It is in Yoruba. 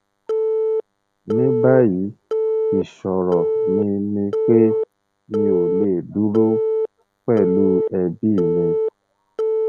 ní báyìí ìṣòro mi ni pé mi ò lè dúró pẹlú ẹbí mi